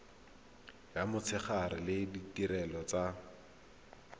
ya motshegare le ditirelo tsa